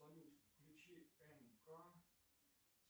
салют включи мк